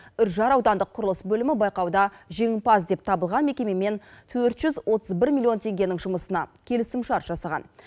үржар аудандық құрылыс бөлімі байқауда жеңімпаз деп табылған мекемемен төрт жүз отыз бір миллион теңгенің жұмысына келісімшарт жасаған